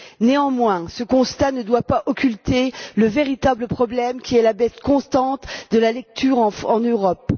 Néanmoins, ce constat ne doit pas occulter le véritable problème qui est la baisse constante de la lecture en Europe.